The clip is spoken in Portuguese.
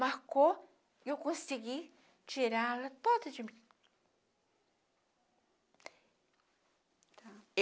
Marcou e eu consegui tirá-la toda de mim.